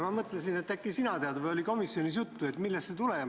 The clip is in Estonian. Ma mõtlesin, et äkki sina tead, vahest oli komisjonis juttu, millest see tuleneb.